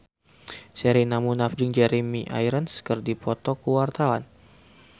Sherina Munaf jeung Jeremy Irons keur dipoto ku wartawan